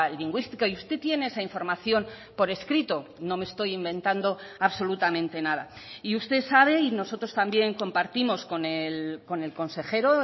lingüística y usted tiene esa información por escrito no me estoy inventando absolutamente nada y usted sabe y nosotros también compartimos con el consejero